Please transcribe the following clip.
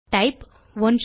type 123